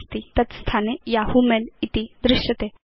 नास्ति तत् स्थाने यहू मेल इति दृश्यते